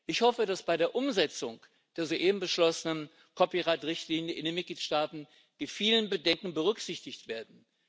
Ich hoffe, dass bei der Umsetzung der soeben beschlossenen Copyright Richtlinie in den Mitgliedstaaten die vielen Bedenken berücksichtigt werden.